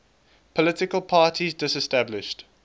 political parties disestablished